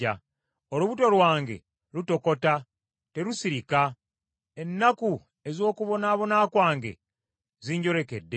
Olubuto lwange lutokota, terusirika; ennaku ez’okubonaabona kwange zinjolekedde.